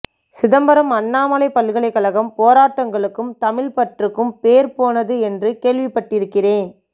சிதம்பரம் அண்ணாமலைப் பல்கலைக்கழகம் போராட்டங்களுக்கும் தமிழ்ப்பற்றுக்கும் பேர் போனது என்று கேள்விப்பட்டிருக்கிறேன்